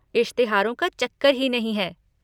इश्तहारों का चक्कर ही नहीं है।